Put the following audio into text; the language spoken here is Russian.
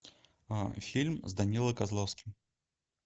фильм с данилой козловским